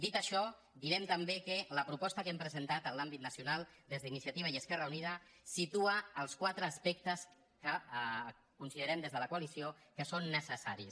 dit això direm també que la proposta que hem pre·sentat en l’àmbit nacional des d’iniciativa i esquerra unida situa els quatre aspectes que considerem des de la coalició que són necessaris